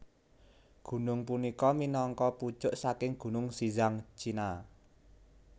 Gunung punika minangka pucuk saking gunung Xizang China